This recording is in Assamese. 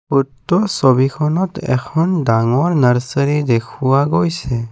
উক্ত ছবিখনত এখন ডাঙৰ নাৰ্চাৰী দেখুওৱা গৈছে।